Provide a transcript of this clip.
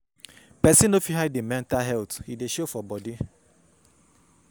Pesin no fit hide im mental health, e dey show for bodi.